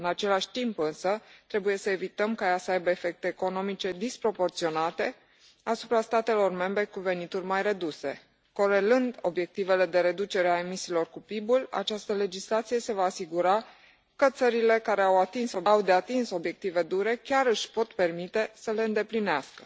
În același timp, însă, trebuie să evităm ca ea să aibă efecte economice disproporționate asupra statelor membre cu venituri mai reduse. Corelând obiectivele de reducere a emisiilor cu PIB ul, această legislație se va asigura că țările care au de atins obiective dure chiar își pot permite să le îndeplinească.